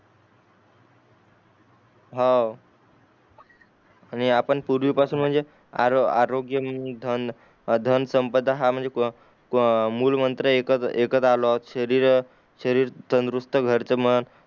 हऊ आणि आपण पूर्वी पासून म्हणजे आरो आरोग्य म्हणजे धन धनसंपदा हा म्हणजे मुलं मंत्र एकच एकच आलो शरीर शरीर तंदुरुस्थ घर त मग